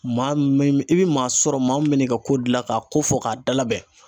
Maa min i bɛ maa sɔrɔ maa min bɛ n'i ka ko dilan ka ko fɔ k'a dalabɛn